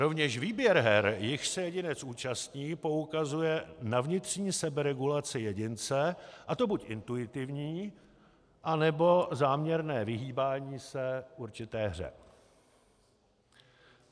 Rovněž výběr her, jichž se jedinec účastní, poukazuje na vnitřní seberegulaci jedince, a to buď intuitivní, nebo záměrné vyhýbání se určité hře.